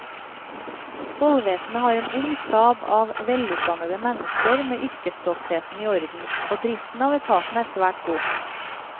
Tollvesenet har en ung stab av velutdannede mennesker med yrkesstoltheten i orden, og driften av etaten er svært god.